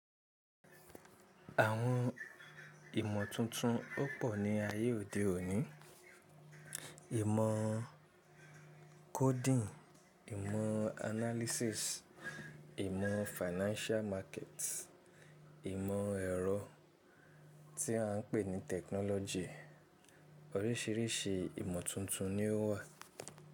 Àwọn ìmọ̀ tuntun ó pọ̀ ní ayé òde òní. Ìmọ̀ coding, ìmọ̀ analysis, ìmọ̀ financial market, ìmọ̀ ẹ̀rọ tí à ń pè ní technology. Oríṣìíríṣìí ìmọ̀ tuntun ni ó wà.